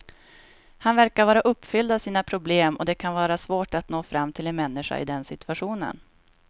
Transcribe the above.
Han verkar vara uppfylld av sina problem och det kan vara svårt att nå fram till en människa i den situationen.